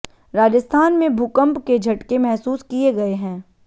राजस्थान में भूकंप के झटके महसूस किए गए हैं